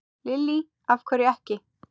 Lillý: Af hverju ekki?